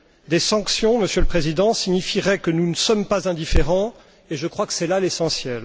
Des sanctions, Monsieur le Président, signifieraient que nous ne sommes pas indifférents et je crois que c'est là l'essentiel.